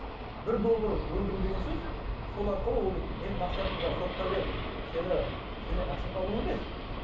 бір доллар өндіру деген сөз сол арқылы ол дейтін менің мақсатым жаңағы сотқа беріп сені сенен ақша табу емес